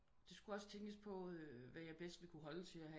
Det skulle også tænkes på hvad jeg bedst ville kunne holde til at have